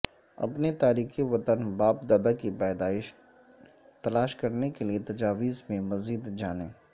اپنے تارکین وطن باپ دادا کی پیدائش تلاش کرنے کیلئے تجاویز میں مزید جانیں